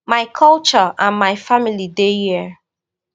my culture and my family dey here